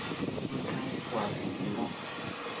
Iminkan wa fidnimo.